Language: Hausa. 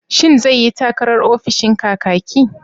Shin zai yi takarar ofishin Kakaki?